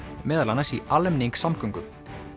meðal annars í almenningssamgöngum